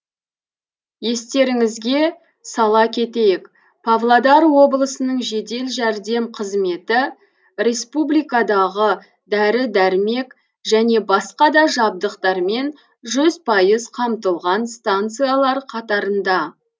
естеріңізге сала кетейік павлодар облысының жедел жәрдем қызметі республикадағы дәрі дәрмек және басқа да жабдықтармен жүз пайыз қамтылған станциялар қатарында